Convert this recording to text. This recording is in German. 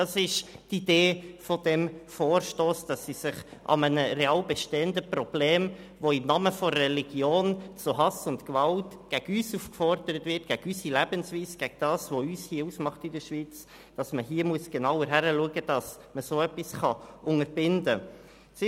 Das ist die Idee dieses Vorstosses, nämlich genauer hinzusehen und zwar dort, wo im Namen der Religion zu Hass und Gewalt gegen uns, gegen unsere Lebensweise und gegen das, was uns hier in der Schweiz ausmacht, aufgerufen wird, damit man solches unterbinden kann.